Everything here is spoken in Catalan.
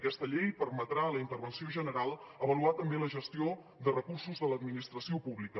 aquesta llei permetrà a la intervenció general avaluar també la gestió de recursos de l’administració pública